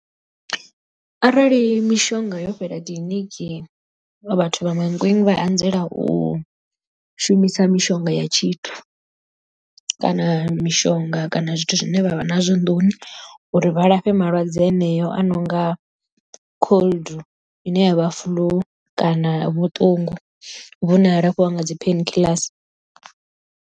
Arali mishonga yo fhela kiḽiniki vhathu vha Mankweng vha anzela u shumisa mishonga ya tshithu kana mishonga kana zwithu zwine vha vha nazwo nḓuni uri vha lafhe malwadze aneyo a no nga cold ine yavha flu kana vhuṱungu vhune ha lafhiwa nga dzi painkillers.